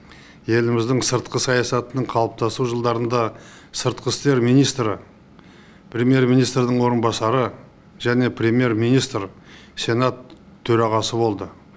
еліміздің сыртқы саясатының қалыптасу жылдарында сыртқы істер министрі премьер министрдің орынбасары және премьер министр сенат төрағасы болды